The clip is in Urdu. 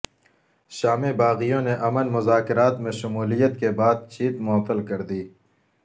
شامی باغیوں نے امن مذاکرات میں شمولیت کی بات چیت معطل کر دی